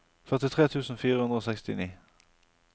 førtitre tusen fire hundre og sekstini